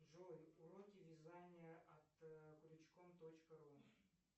джой уроки вязания от крючком точка ру